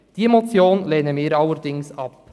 Diese Motion lehnen wir allerdings ab.